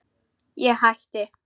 Ég hætti.